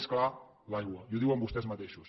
més clar l’aigua i ho diuen vostès mateixos